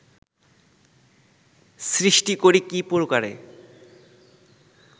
সৃষ্টি করি কী প্রকারে